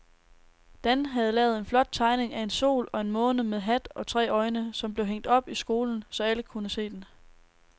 Dan havde lavet en flot tegning af en sol og en måne med hat og tre øjne, som blev hængt op i skolen, så alle kunne se den.